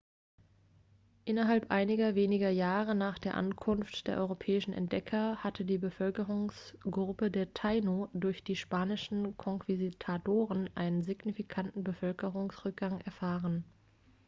innerhalb einiger weniger jahre nach der ankunft der europäischen entdecker hatte die bevölkerungsgruppe der taino durch die spanischen konquistadoren einen signifikanten bevölkerungsrückgang erfahren